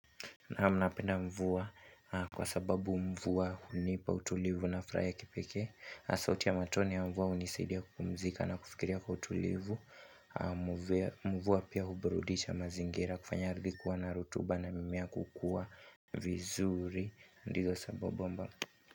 Naam napenda mvua kwa sababu mvua hunipa utulivu na furaha ya kipekee. Na sauti ya matone ya mvua hunisaidia kupumzika na kufikiria kwa utulivu mvua pia huburudisha mazingira kufanya ardhi kuwa na rutuba na mimea kukua vizuri ndizo sababu.